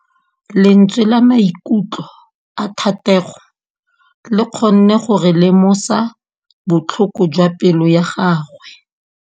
Lentswe la maikutlo a Thategô le kgonne gore re lemosa botlhoko jwa pelô ya gagwe.